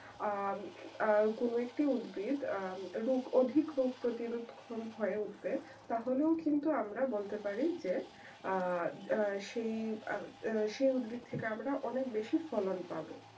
আহ কোন একটি উদ্ভিদ আহ অধিক রোগ প্রতিরোধ কম হয়ে উঠবে তাহলে কিন্তু আমরা বলতে পারি যে আহ সেই উদ্ভিদ থেকে অনেক বেশি ফলন পাব